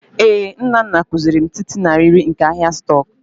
Ee, Nnanna kuziri m tịịtị na riiri nke ahịa stock